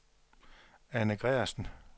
Erna Gregersen